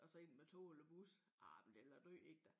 Og så ind med tog eller bus ej men det ville være død inden da